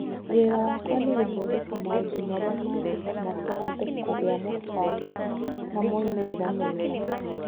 Wĩra wakwa nĩ gũthondeka maũndũ marĩa mangĩtũma tũhote kũgĩa mũbango na moimĩrĩro mega.